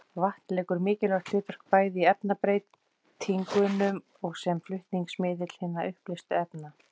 Vatn leikur mikilvægt hlutverk bæði í efnabreytingunum og sem flutningsmiðill hinna uppleystu efna.